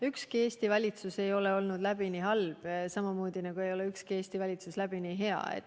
Ükski Eesti valitsus ei ole olnud läbini halb, samamoodi nagu ei ole ükski Eesti valitsus olnud läbini hea.